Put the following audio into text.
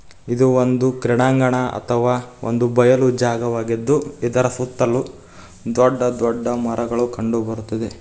ಇದು ಒಂದು ಕ್ರೀಡಾಂಗಣ ಅಥವ ಬಯಲು ಒಂದು ಜಾಗವಾಗಿದ್ದು ಇದರ ಸುತ್ತಲು ದೊಡ್ಡ ದೊಡ್ಡ ಮರಗಳು ಕಂಡುಬರ್ತದೆ.